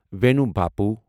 واینُو بپُو